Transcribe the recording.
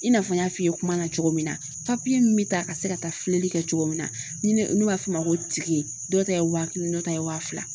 I n'a fɔ n y'a f'i ye kuma na cogo min na min bɛ taa ka se ka taa filɛli kɛ cogo min na ni ne b'a f'o ma ko dɔw ta ye waa kelen dɔ ta ye wa fila